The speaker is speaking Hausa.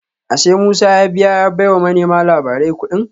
Ashe Musa ya biya ya baiwa manema labarai kudin